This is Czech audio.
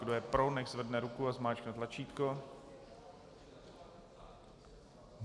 Kdo je pro, nechť zvedne ruku a zmáčkne tlačítko.